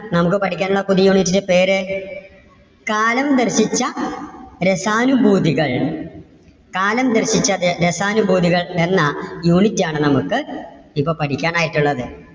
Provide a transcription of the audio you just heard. നമുക്ക് പഠിക്കാൻ ഉള്ള പുതിയ unit ന്‍ടെ പേര്? കാലം പഠിപ്പിച്ച രസാനുഭൂതികൾ. കാലം പഠിപ്പിച്ച ര~രസാനുഭൂതികൾ എന്ന unit ആണ് നമുക്ക് ഇപ്പോ പഠിക്കാൻ ആയിട്ടുള്ളത്.